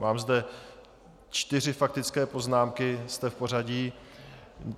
Mám zde čtyři faktické poznámky, jste v pořadí.